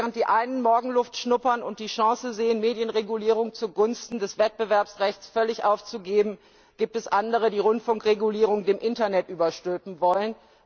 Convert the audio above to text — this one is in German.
Während die einen Morgenluft wittern und die Chance sehen, Medienregulierung zugunsten des Wettbewerbsrechts völlig aufzugeben, gibt es andere, die Rundfunkregulierung dem Internet überstülpen wollen.